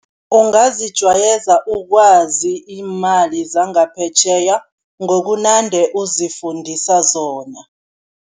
Ungazijwayeza ukwazi iimali zangaphetjheya ngokunande uzifundise zona.